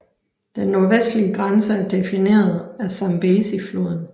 Den nordvestlige grænse er defineret af Zambezifloden